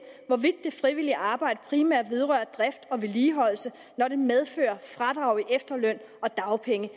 hvorvidt det frivillige arbejde primært vedrører drift og vedligeholdelse når det medfører fradrag i efterløn dagpenge